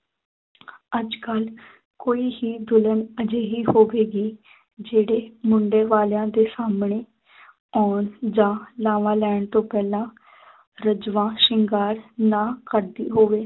ਅੱਜ ਕੱਲ੍ਹ ਕੋਈ ਹੀ ਦੁਲਹਨ ਅਜਿਹੀ ਹੋਵੇਗੀ ਜਿਹੜੇ ਮੁੰਡੇ ਵਾਲਿਆਂ ਦੇ ਸਾਹਮਣੇ ਆਉਣ ਜਾਂ ਲਾਵਾਂ ਲੈਣ ਤੋਂ ਪਹਿਲਾਂ ਰੱਜਵਾ ਸ਼ਿੰਗਾਰ ਨਾ ਕਰਦੀ ਹੋਵੇ